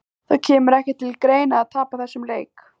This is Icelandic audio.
Það kemur ekki til greina að tapa þessum leik!